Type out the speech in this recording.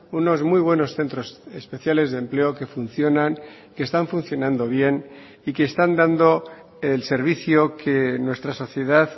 unos muy buenos centros especiales de empleo que funcionan que están funcionando bien y que están dando el servicio que nuestra sociedad